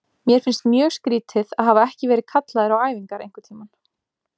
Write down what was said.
Mér finnst mjög skrýtið að hafa ekki verið kallaður á æfingar einhverntímann.